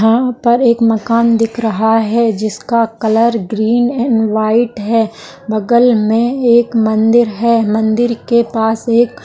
यहां पर एक मकान दिख रहा है जिसका कलर ग्रीन एंड व्हाइट है बगल में एक मंदिर है मंदिर के पास एक --